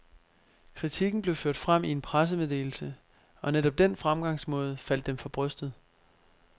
Kritikken blev ført frem i en pressemeddelse, og netop den fremgangsmåde faldt dem for brystet.